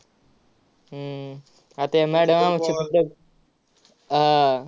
हम्म आता या madam आमची आह